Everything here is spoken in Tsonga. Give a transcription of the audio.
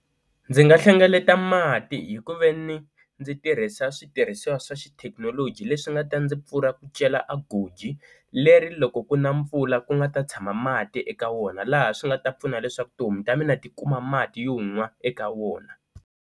Ndzi nga hlengeleta mati hi ku ve ni ndzi tirhisa switirhisiwa swa xithekinoloji leswi nga ta ndzi pfuna ku cela a goji leri loko ku na mpfula ku nga ta tshama mati eka wona laha swi nga ta pfuna leswaku tihomu ta mina ti kuma mati yo nwa eka wona.